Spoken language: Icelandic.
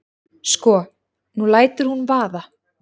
Sko. nú lætur hún vaða.